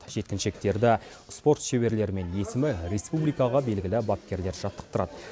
жеткіншектерді спорт шеберлері мен есімі республикаға белгілі бапкерлер жаттықтырады